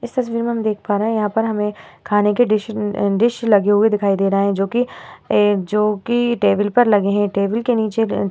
इस तस्वीर में हम देख पा रहे हैं। यहाँ पर हमे खाने के डिश अ डिश लगे हुए दिखाई दे रहे हैं जोकि ए जोकि टेबल पर लगे हैं। टेबल के निचे अ --